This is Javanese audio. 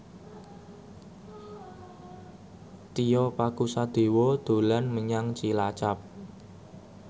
Tio Pakusadewo dolan menyang Cilacap